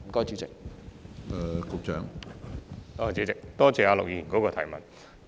主席，多謝陸議員的補充質詢。